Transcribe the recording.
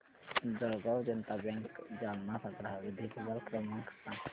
Jalgaon Janata bank Jalna चा ग्राहक देखभाल क्रमांक सांग